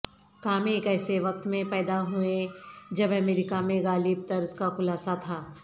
کام ایک ایسے وقت میں پیدا ہوئیں جب امریکہ میں غالب طرز کا خلاصہ تھا